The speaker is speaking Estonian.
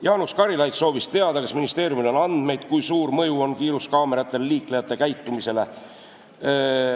Jaanus Karilaid soovis teada, kas ministeeriumil on andmeid, kui suur mõju on kiiruskaameratel liiklejate käitumisele.